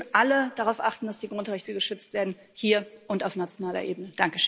Wir müssen alle darauf achten, dass die Grundrechte geschützt werden hier und auf nationaler Ebene.